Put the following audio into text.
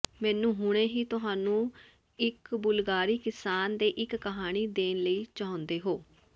ਮੈਨੂੰ ਹੁਣੇ ਹੀ ਤੁਹਾਨੂੰ ਇੱਕ ਬੁਲਗਾਰੀ ਕਿਸਾਨ ਦੇ ਇੱਕ ਕਹਾਣੀ ਦੇਣ ਲਈ ਚਾਹੁੰਦੇ ਹੋ